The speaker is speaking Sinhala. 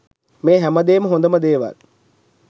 මේ හැමදේම හොඳම දේවල්